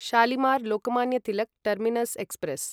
Shalimar Lokmanya Tilak terminus express